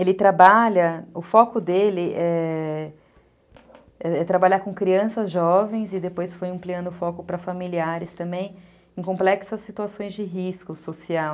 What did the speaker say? Ele trabalha, o foco dele é... ãh, trabalhar com crianças jovens e depois foi ampliando o foco para familiares também, em complexas situações de risco social.